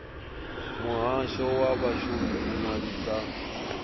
muhasho wa vhashumi u ṅwalisa